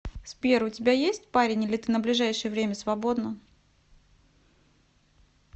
сбер у тебя есть парень или ты на ближайшее время свободна